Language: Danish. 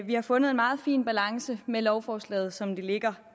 vi har fundet en meget fin balance med lovforslaget som det ligger